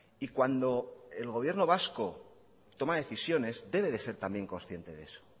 y cuando el gobierno vasco toma decisiones debe de ser también consiente de eso